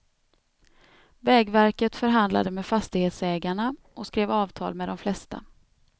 Vägverket förhandlade med fastighetsägarna och skrev avtal med de flesta.